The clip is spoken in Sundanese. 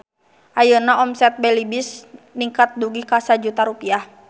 Ayeuna omset Belibis ningkat dugi ka 1 juta rupiah